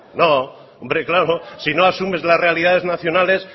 no hombre claro si no asumes las realidades nacionales